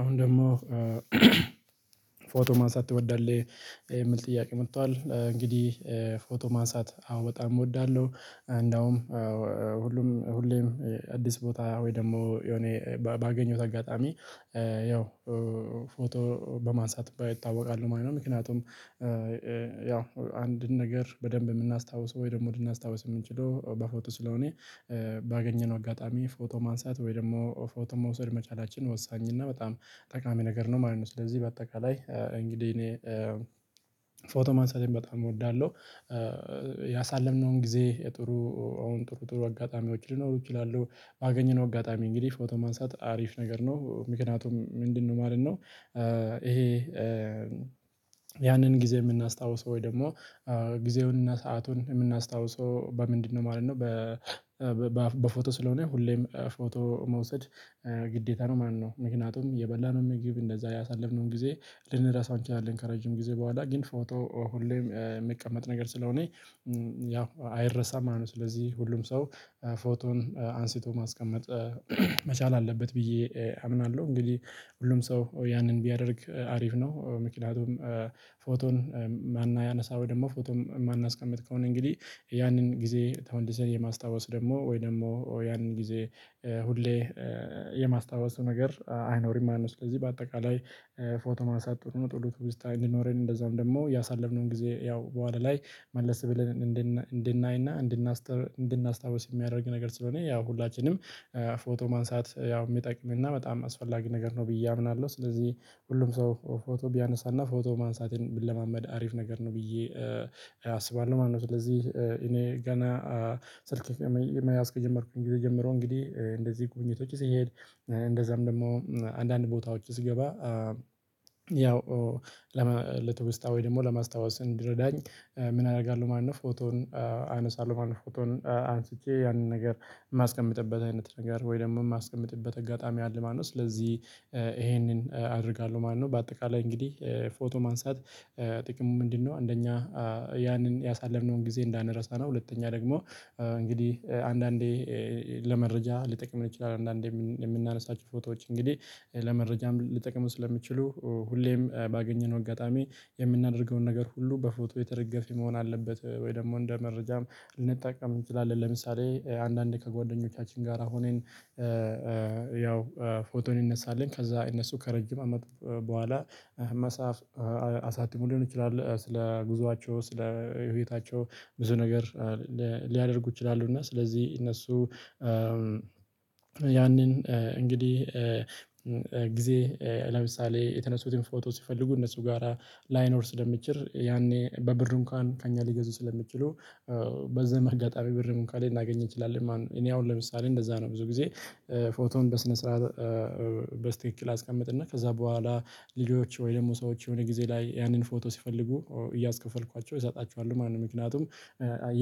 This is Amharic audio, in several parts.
አሁን ደግሞ ፎቶ ማንሳት ትወዳለህ የምል ጥያቄ መጥቷል። እንግዲህ ፎቶ ማንሳት አዎ በጣም እወዳለሁ። እንደውም ሁሉም ሁሌም አዲስ ቦታ ወይ ደግሞ የሆነ ባገኘሁት አጋጣሚ ያው ፎቶ በማንሳት በ እታወቃለው ማለት ነው። ምክንያቱም ያው አንድን ነገር በደንብ የምናስታውሰው ወይ ደግሞ ልናስታውስ የምንችለው በፎቶ ስለሆነ ባገኘነው አጋጣሚ ፎቶ ማንሳት ወይ ደግሞ ፎቶ መውሰድ መቻላችን ወሳኝ እና በጣም ጠቃሚ ነገር ነው ማለት ነው። ስለዚህ በአጠቃላይ እንግዲህ እኔ ፎቶ ማንሳቴን በጣም እወዳለሁ። ያሳለፍነውን ጊዜ የጥሩ አሁን ጥሩ ጥሩ አጋጣሚዎች ሊኖሩ ይችላሉ ባገኘነው አጋጣሚ እንግዲህ ፎቶ ማንሳት አሪፍ ነገር ነው። ምክንያቱም ምንድነው ማለት ነው ይሄ ያንን ጊዜ የምናስታውሰው ወይ ደግሞ ጊዜውን እና ሰአቱን የምናስታውሰው በምንድነው ማለት ነው በፎቶ ስለሆነ ሁሌም ፎቶ መውሰድ ግዴታ ነው ማለት ነው። ምክንያቱም የበላነው ምግብ እንደዛ ያሳለፍነውን ጊዜ ልንረሳው እንችላለን ከረጅም ጊዜ በኋላ ግን ፎቶ ሁሌ የሚቀመጥ ነገር ስለሆነ ያው አይረሳም ማለት ነውው ስለዚህ ሁሉም ሰው ፎቶን አንስቶ ማስቀመጥ መቻል አለበት ብዬ አምናለሁ። እንግዲህ ሁሉም ሰው ያንን ቢያደርግ አሪፍ ነው። ምክንያቱም ፎቶን ማና ያነሳው ደግሞ ፎቶም እማናስቀምጥ ከሆነ እንግዲህ ያንን ጊዜ ተመልሰን የማስታወስ ደግሞ ወይ ደግሞ ያንን ጊዜ ሁሌ የማስታወስ ነገር አይኖርም ማለት ነው ስለዚህ በአጠቃላይ ፎቶ ማንሳት ጥቅሙ ጥሩ ትውስታ እንዲኖረን እንደዛውም ደግሞ ያሳለፍነውን ጊዜ ያው በዋላ ላይ መለሰ ብለን እንድነ እንድናይና እንድናስተ እንድናስታውስ የሚያደርግ ነገር ስለሆነ ያው ሁላችንም ፎቶ ማንሳት ያው የሚጠቅም እና በጣም አስፈላጊ ነገር ነው ብዬ አምናለሁ። ስለዚህ ሁሉም ሰው ፎቶ ቢያነሳና ፎቶ ማንሳትንን ቢለማመድ አሪፍ ነገር ነው ብዬ አስባለሁ ማለት ነው። ስለዚህ እኔ ገና ስልክ ከመይ መያዝ ከጀመርኩኝ ጊዜ ጀምሮ እንግዲህ እንደዚህ ጉብኝቶች ስሄድ እንደዛም ደግሞ አንዳንድ ቦታዎች ስገባ ያው ለመ ለትውስታ ወይ ደግሞ ለማስታወስ እንዲረዳኝ ምን አደርጋለሁ ማለት ነው፣ ፎቶን አነሳለሁ ማለት ነው። ፎቶን አንስቼ ያንን ነገር የማስቀምጥበት አይነት ነገር ወይ ደግሞ የማስቀምጥበት አጋጣሚ አለ ማለት ነው። ስለዚህ ይሄንን አደርጋለሁ ማለት ነው። በአጠቃላይ እንግዲህ ፎቶ ማንሳት ጥቅሙ ምንድነው አንደኛ ያንን ያሳለፍነውን ጊዜ እንዳንረሳ ነው ሁለተኛ ደግሞ እንግዲህ አንዳንዴ ለመረጃ ሊጠቅም ይችላል አንዳንዴ የምን የምናነሳቸው ፎቶዎች እንግዲህ ለመረጃም ሊጠቅሙ ስለሚችሉ ሁሌም ባገኘነው አጋጣሚ የምናደርገውን ነገር ሁሉ በፎቶ የተደገፈ መሆን አለበት ወይ ደግሞ እንደ መረጃም ልንጠቀም እንችላለን። ለምሳሌ አንዳንዴ ከጓደኞቻችን ጋር ሆነን ያው ፎቶ እንነሳለን። ከዛ እነሱ ከረጅም አመት በኋላ መጽሐፍ አሳትመው ሊሆን ይችላል ስለ ጉዟቸው ስለ የህይወታቸው ብዙ ነገር ሊያደርጉ ይችላሉ እና ስለዚህ እነሱ ያንን እንግዲህ ጊዜ ለምሳሌ የተነሱትን ፎቶ ሲፈልጉ እነሱ ጋራ ላይኖር ስለሚችር ያኔ በብር እንኳን ከእኛ ሊገዙ ስለሚችሉ በዛም አጋጣሚ ብርም እንኳን ልናገኝ እንችላለን ማለት ነው። እኔ አሁን ለምሳሌ እንደዛ ነው ብዙ ጊዜ ፎቶን በስነ ስርዓት በስክክል አስቀምጥና ከዛ በኋላ ልጆች ወይ ደግሞ ሰዎች የሆነ ጊዜ ላይ ያንን ፎቶ ሲፈልጉ እያስከፈልኳቸው እሰጣቸዋለሁ ማለት ነው። ምክንያቱም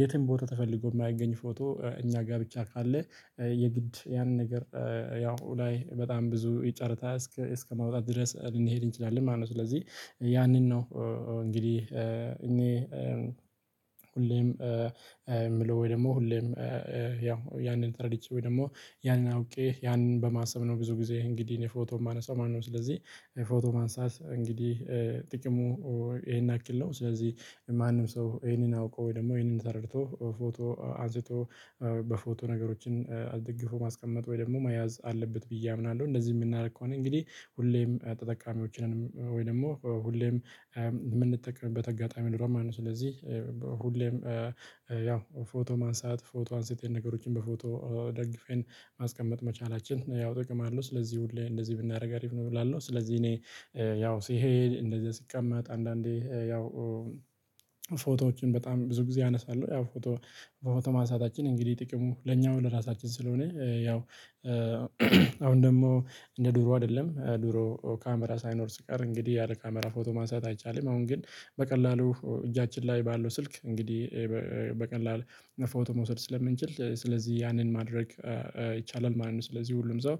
የትም ቦታ ተፈልጎ የማይገኝ ፎቶ እኛ ጋር ብቻ ካለ የግድ ያንን ነገር ያው ላይ በጣም ብዙ ይ ጨርታ እስከ እስከማውጣት ድረስ ልንሄድ እንችላለን ማለት ነው። ስለዚህ ያንን ነው እንግዲህ እኔ ሁሌም የምለው ወይ ደግሞ ሁሌም ያው ያንን ተረድቼ ወይ ደግሞ ያንን አውቄ ያንን በማሰብ ነው ብዙ ጊዜ እንግዲህ እኔ ፎቶ የማነሳው ማለት ነው ስለዚህ ፎቶ ማንሳት እንግዲህ ጥቅሙ ይሄን ያክል ነው ስለዚህ ማንም ሰው ይሄንን አውቆ ወይ ደግሞ ይሄንን ተረድቶ ፎቶ አንስቶ በፎቶ ነገሮችን አስድግፎ ማስቀመጥ ወይ ደግሞ መያዝ አለበት ብዬ አምናለሁ። እንደዚህ የምናደርግ ከሆነ እንግዲህ ሁሌም ተጠቃሚዎች ነን ወይ ደግሞ ሁሌም የምንጠቀምበት አጋጣሚ ነው የሚኖረው ስለዚህ ሁሌም ያው ፎቶ ማንሳት ፎቶ አንስተን ነገሮችን በፎቶ ደግፈን ማስቀመጥ መቻላችን ያው ጥቅም አለው። ስለዚህ ሁሌ እንደዚህ ብናደርግ አሪፍ ነው እላለሁ ስለዚህ እኔ ያው ሲሄድ እንደዚህ ሲቀመጥ አንዳንዴ ያው ፎቶዎችን በጣም ብዙ ጊዜ አነሳለሁ ያው ፎቶ ፎቶ ማንሳታችን እንግዲህ ጥቅሙ ለኛው ለራሳችን ስለሆነ ያው አሁን ደግሞ እንደ ድሮ አይደለም ድሮ ካሜራ ሳይኖር ሲቀር እንግዲህ ያለ ካሜራ ፎቶ ማሳየት አይቻልም። አሁን ግን በቀላሉ እጃችን ላይ ባለው ስልክ እንግዲህ በቀላል ነፎቶ መውሰድ ስለምንችል ስለዚህ ያንን ማድረግ ይቻላል ማለት ነው። ስለዚህ ሁሉም ሰው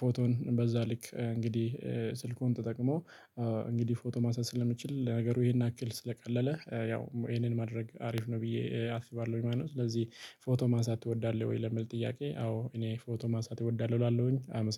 ፎቶን በዛ ልክ እንግዲህ ስልኩን ተጠቅሞ እንግዲህ ፎቶ ማንሳት ስለሚችል ነገሩ ይሄን ያክል ስለቀለለ ያው ይሄንን ማድረግ አሪፍ ነው ብዬ አስባለሁ ማለት ነው። ስለዚህ ፎቶ ማንሳት ትወዳለህ ወይ ለሚል ጥያቄ አዎ እኔ ፎቶ ማንሳት እወዳለሁ እላለሁኝ አመሰግ